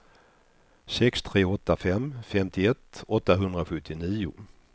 sex tre åtta fem femtioett åttahundrasjuttionio